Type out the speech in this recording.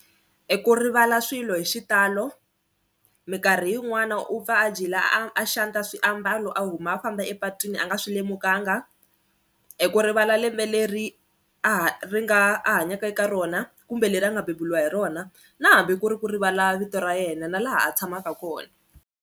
I ku rivala swilo hi xitalo minkarhi yin'wani u pfa a a xanta swiambalo a huma a famba epatwini a nga swi lemukanga eku rivala lembe leri a ha ri nga a hanyaka eka rona kumbe leri a nga beburiwa hi rona na hambi ku ri ku rivala vito ra yena na laha a tshamaka kona.